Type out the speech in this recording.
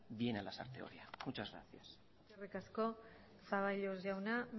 viene a lasarte oria muchas gracias eskerrik asko zaballos jauna